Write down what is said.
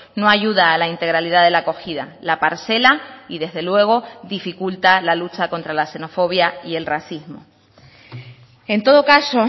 no ayuda a la integralidad de la acogida la parcela y desde luego dificulta la lucha contra la xenofobia y el racismo en todo caso